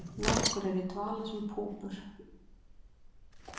Nokkur eru í dvala sem púpur.